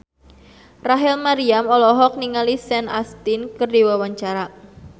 Rachel Maryam olohok ningali Sean Astin keur diwawancara